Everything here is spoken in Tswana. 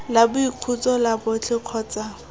la boikhutso la botlhe kgotsa